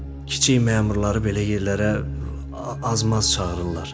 Kiçik məmurları belə yerlərə az-maz çağırırlar.